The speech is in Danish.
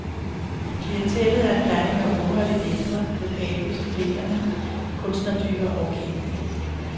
Klientellet er en blanding af unge og lidt ældre, lokale, studerende, kunstnertyper og kendte.